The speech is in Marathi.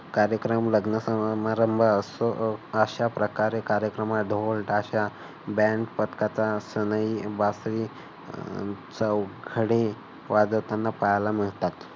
कार्यक्रम लग्न समारंभ अश्या प्रकारे कार्यक्रमात ढोल ताशा band पथकाचा सनई बासरी अह चौघडे वाजवताना पाहायला मिळतात.